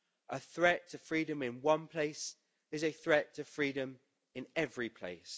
A threat to freedom in one place is a threat to freedom in every place.